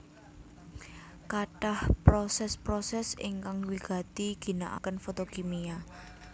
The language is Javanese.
Katah proses proses ingkang wigati ginaaken fotokimia